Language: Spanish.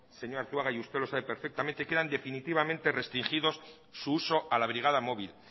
señor arzuaga y usted lo sabe perfectamente quedan definitivamente restringido su uso a la brigada móvil